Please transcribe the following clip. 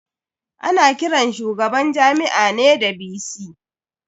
Ana kiran shugaban Jami'a ne da "VC".